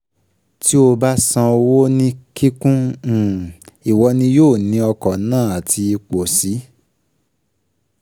Tí o um bá san owó ní kíkún, ìwọ ni yóò ní ọkọ̀ náà àti ipò sì